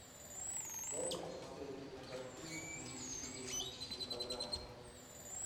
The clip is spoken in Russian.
дай мне посмотреть кинокартину в стилистике туристической программы